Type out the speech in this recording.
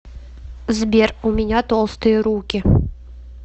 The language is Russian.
сбер у меня толстые руки